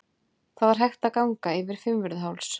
Það er hægt að ganga yfir Fimmvörðuháls.